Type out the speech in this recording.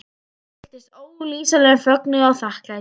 Ég fylltist ólýsanlegum fögnuði og þakklæti.